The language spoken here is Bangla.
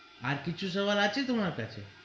আর কিছু সোয়াল আছে তোমার কাছে.